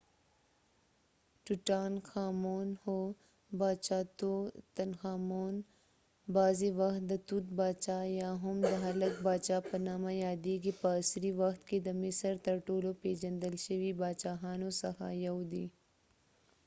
هو! باچاتوتنخامون tutankhamun ،بغضی وخت د توت باچا یا هم د هلک باچا په نامه یاديږی . په عصری وخت کې د مصر تر ټولو پیژندل شوي باچاهانو څخه یو دي